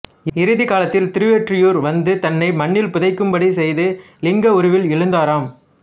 இறுதிக் காலத்தில் திருவொற்றியூர் வந்து தன்னை மணலில் புதைக்கும்படி செய்து இலிங்க உருவில் எழுந்தாராம்